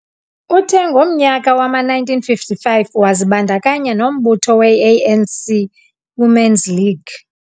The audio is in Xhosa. Uthe ngomnyaka wama -1955 wazibandakanya nombutho we - A.N.C Women's League.